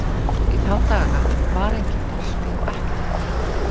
Í þá daga var enginn bolti og ekkert mark.